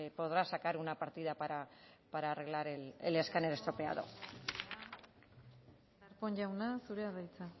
podrá sacar una partida para arreglar el escáner estropeado darpón jauna zurea da hitza